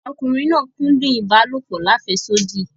Ọkùnriǹ náà kúdùn ibàlọpò làféṣodí.